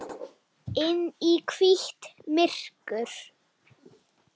Inn í hvítt myrkur.